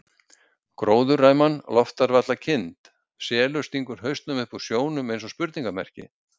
Gróðurræman loftar varla kind, selur stingur hausnum upp úr sjónum eins og spurningarmerki.